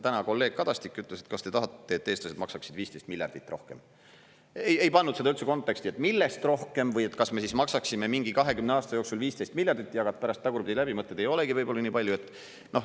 Täna kolleeg Kadastik ütles, et kas te tahate, et eestlased maksaksid 15 miljardit eurot rohkem, ei pannud seda üldse konteksti, et millest rohkem või et kas me siis maksaksime mingi 20 aasta jooksul 15 miljardit eurot, jagad pärast tagurpidi läbi, mõtled, ei olegi võib-olla nii palju.